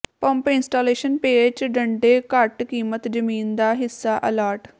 pump installation ਪੇਚ ਡੰਡੇ ਘੱਟ ਕੀਮਤ ਜ਼ਮੀਨ ਦਾ ਹਿੱਸਾ ਅਲਾਟ